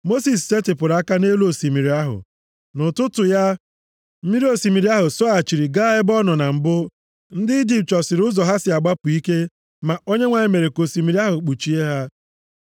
Mosis setịpụrụ aka nʼelu osimiri ahụ. Nʼụtụtụ ya, mmiri osimiri ahụ sọghachiri gaa ebe ọ nọ na mbụ. Ndị Ijipt chọsịrị ụzọ ha si agbapụ ike, ma Onyenwe anyị mere ka osimiri ahụ kpuchie ha.